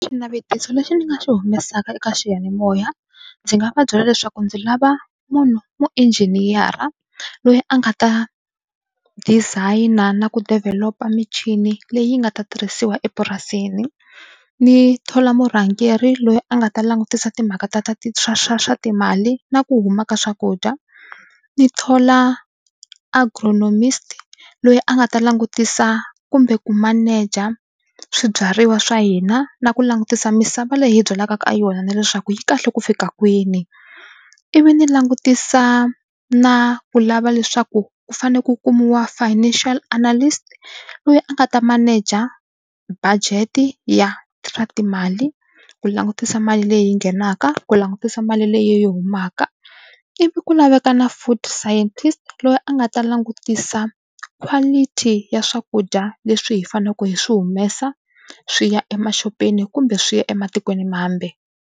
Xinavetiso lexi ni nga xi humesaka eka xiyanimoya ndzi nga va byela leswaku ndzi lava munhu muinjiniyara loyi a nga ta design-a na ku develop-a michini leyi nga ta tirhisiwa epurasini ndzi thola murhangeri loyi a nga ta langutisa timhaka ta ta ti swa swa swa timali na ku huma ka swakudya ni thola agronomist loyi a nga ta langutisa kumbe ku maneja swibyariwa swa hina na ku langutisa misava leyi hi byalaka ka yona na leswaku yi kahle ku fika kwini ivi ni langutisa na ku lava leswaku ku fanele ku kumiwa financial analyst a nga ta maneja budget ya swa timali ku langutisa mali leyi nghenaka ku langutisa mali leyi humaka ivi ku laveka na food scientist loyi a nga ta langutisa quality ya swakudya leswi hi faneleke hi swi humesa swi ya emaxopeni kumbe swi ya ematikweni mambe.